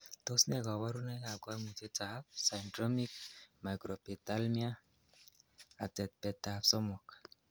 Tos nee koborunoikab koimutietab Syndromic microphthalmia, atetbetab somok?